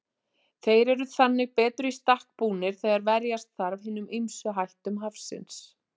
Þeir eru þannig betur í stakk búnir þegar verjast þarf hinum ýmsu hættum hafsins.